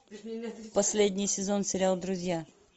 последний сезон сериал друзья